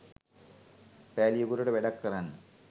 පෑලියගොඩට වැඩක් කරන්න.